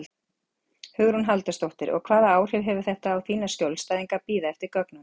Hugrún Halldórsdóttir: Og hvaða áhrif hefur þetta á þína skjólstæðinga að bíða eftir gögnunum?